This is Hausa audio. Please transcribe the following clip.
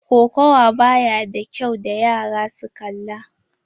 Kokawa ba ya da kyau wa yara su kalla.